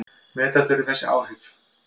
Meta þurfi þessi áhrif.